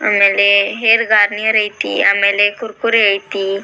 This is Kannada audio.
ಆಮೇಲೆ ಹೇರ್ ಗಾರ್ನಿಯರ್ ಆಯ್ತಿ ಆಮೇಲೆ ಕುರ್ಕುರೆ ಆಯ್ತಿ .